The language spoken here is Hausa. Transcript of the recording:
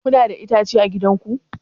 Kuna da itace a gidan ku?